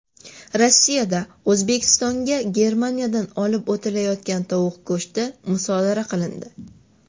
Rossiyada O‘zbekistonga Germaniyadan olib o‘tilayotgan tovuq go‘shti musodara qilindi.